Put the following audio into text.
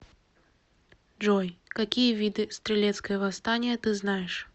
джой какие виды стрелецкое восстание ты знаешь